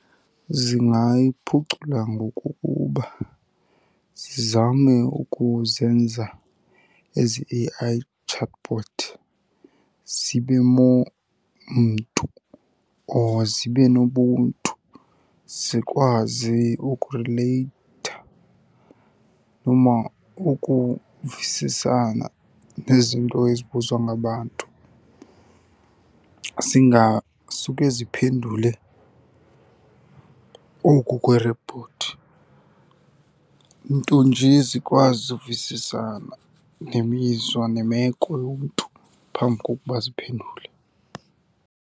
Zingayiphucula ngokokuba zizame ukuzenza ezi A_I chatbot zibe more mntu or zibe nobuntu zikwazi ukurileyitha noma ukuvisisana nezinto ezibuzwa ngabantu. Zingasuke ziphendule oku kweerobhothi, nto nje zikwazi uvisisana nemizwa nemeko yomntu phambi kokuba ziphendule.